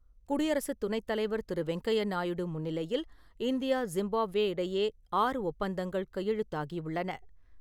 குடியரசுத் துணைத்தலைவர் திரு வெங்கையா நாயுடு முன்னிலையில், இந்தியா ஜிம்பாப்வே இடையே ஆறு ஒப்பந்தங்கள் கையெழுத்தாகியுள்ளன.